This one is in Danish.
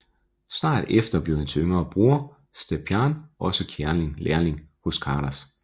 Snart efter blev hans yngre bror Stjepan også lærling hos Karas